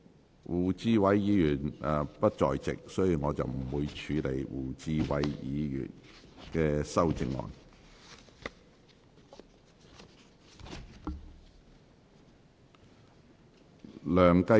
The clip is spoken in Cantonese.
由於胡志偉議員不在席，本會不會處理他的修正案。